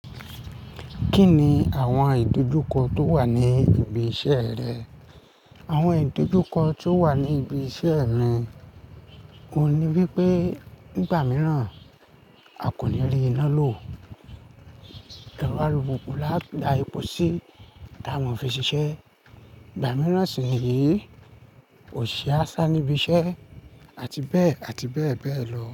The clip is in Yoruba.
Kí ni àwọn ìdojúkọ tó wà ní ibi iṣẹ́ rẹ? Àwọn ìdojúkọ tó wà ní ibi iṣẹ́ re òun ní wí pé ìgbà mìíràn a kò ní rí iná lò, erọ alùpùpù lá a da ẹpò sí tí a máa ń fi ṣiṣẹ́. Ìgbà mìíràn sì ni yí ò ṣe a sá níbi iṣẹ́ àti bẹ́ẹ̀ àti bẹ́ẹ̀ bẹ́ẹ̀ lọ.